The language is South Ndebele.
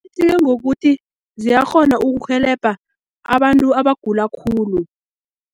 ngokuthi ziyakghona ukurhelebha abantu abagula khulu.